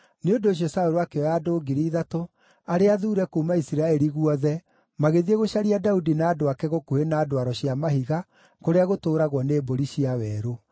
Nĩ ũndũ ũcio Saũlũ akĩoya andũ ngiri ithatũ arĩa athuure kuuma Isiraeli guothe magĩthiĩ gũcaria Daudi na andũ ake gũkuhĩ na ndwaro cia mahiga kũrĩa gũtũũragwo nĩ Mbũri cia Werũ.